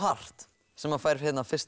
sem fær fyrst